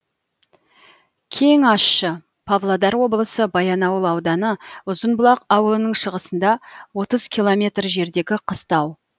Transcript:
кеңащы павлодар облысы баянауыл ауданы ұзынбұлақ ауылының шығысында отыз километр жердегі қыстау